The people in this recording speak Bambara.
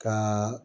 Ka